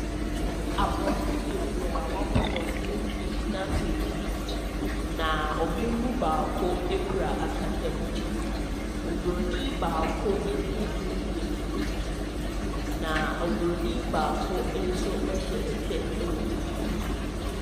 Aborɔfo bebree a wɔabɔ dɔmpem gyna beebi. Na wɔn mu baako kurɛ akasamu. Obronin baako tirihwi yɛ tuntum, na obronin baako nso hyɛ kyɛ wɔ ne ti.